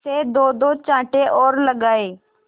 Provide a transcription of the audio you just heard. से दोदो चांटे और लगाए